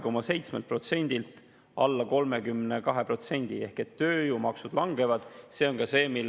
Kui te varasemate eelnõude puhul saite tõesti öelda, et maksud tõusevad, siis tööjõu efektiivne maksumäär selle eelnõu tulemusel langeb ehk ta langeb sealt kuskilt 32,7%-lt alla 32%.